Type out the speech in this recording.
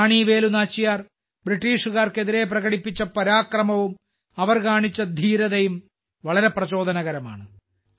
റാണി വേലു നാച്ചിയാർ ബ്രിട്ടീഷുകാർക്കെതിരെ പ്രകടിപ്പിച്ച പരാക്രമവും അവർ കാണിച്ച ധീരതയും വളരെ പ്രചോദനകരമാണ്